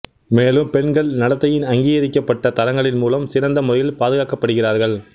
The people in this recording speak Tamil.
மேலும் பெண்கள் நடத்தையின் அங்கீகரிக்கப்பட்ட தரங்களின் மூலம் சிறந்த முறையில் பாதுகாக்கப்படுகிறார்கள்